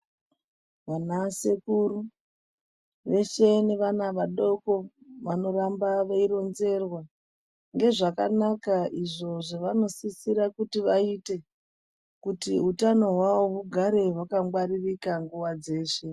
Vana sekuru veshe nevana vadoko vanorambe veironzerwa ngezvakanaka izvo zvavanosise kuti vaite kuti utano hwavo hugare hwangwaririka nguwa dzeshe.